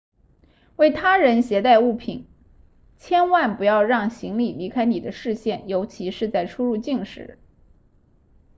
为他人携带物品千万不要让行李离开你的视线尤其是在出入境时